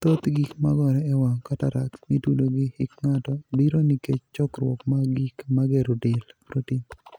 Thoth gik magoree e wang' ('cataracts') mitudo gi hik ng'ato, biro nikech chokruok mag gik magero del ('protein').